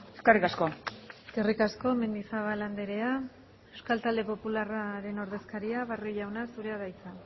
eskerrik asko eskerrik asko mendizabal andrea euskal talde popularraren ordezkaria barrio jauna zurea da hitza